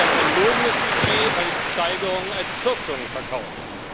Es ist ein verlogenes Budget, weil es die Steigerungen als Kürzungen verkauft.